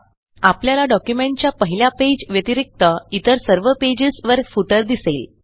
आपल्याला डॉक्युमेंटच्या पहिल्या पेज व्यतिरिक्त इतर सर्वpages वरfooter दिसेल